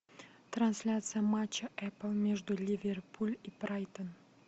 трансляция матча апл между ливерпуль и брайтон